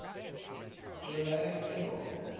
germanic peoples